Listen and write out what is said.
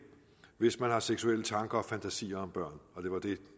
hvis man har seksuelle tanker og fantasier om børn og det var det